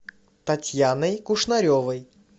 татьяной кушнаревой